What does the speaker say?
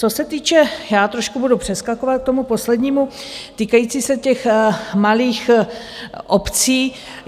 Co se týče - já trošku budu přeskakovat k tomu poslednímu týkajícímu se těch malých obcí.